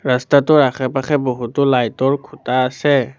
ৰাস্তাটোৰ আশে-পাশে বহুতো লাইট ৰ খুটা আছে।